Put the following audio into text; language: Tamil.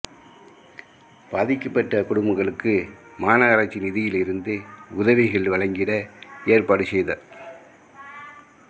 பாதிக்கப்பட்ட குடும்பங்களுக்கு மாநகராட்சி நிதியிருந்து உதவிகள் வழங்கிட ஏற்பாடு செய்தார்